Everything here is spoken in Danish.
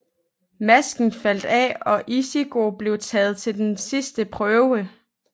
Masken faldt af og Ichigo blev taget til den sidste prøve